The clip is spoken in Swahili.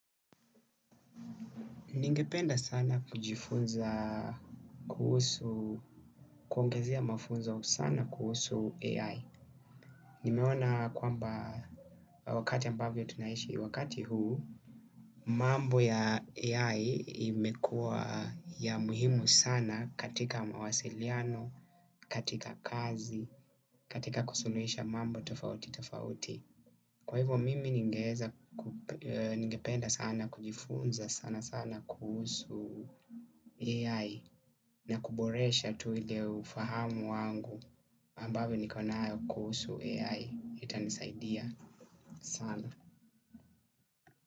Ningependa sana kujifunza kuhusu, kuongezea mafunzo sana kuhusu AI. Nimeona kwamba wakati ambavyo tunaishi wakati huu, mambo ya AI imekua ya muhimu sana katika mawasiliano, katika kazi, katika kusuluhisha mambo tofauti tofauti. Kwa hivyo mimi ningependa sana kujifunza sana sana kuhusu AI. Na kuboresha tu ile ufahamu wangu ambavyo nikonayo kusu AI. Itanisaidia sana.